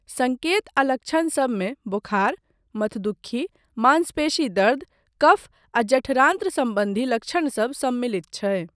सङ्केत आ लक्षण सबमे बोखार, मथदुक्खी, मांसपेशी दर्द, कफ आ जठरान्त्र सम्बन्धी लक्षणसब सम्मिलित छै।